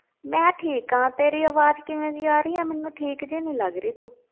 ਮੈਂ ਠੀਕ ਹਾਂ, ਤੇਰੀ ਆਵਾਜ਼ ਕਿਵੇਂ ਦੀ ਆ ਰਹੀ ਆ ਮੈਨੂੰ, ਠੀਕ ਜਿਹੀ ਨੀ ਲੱਗ ਰਹੀ ਤੂੰ।